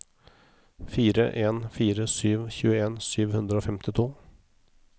fire en fire sju tjueen sju hundre og femtito